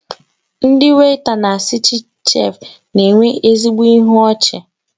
Ndị weịta na Citichef na-enwe ezigbo ịhụ ọchi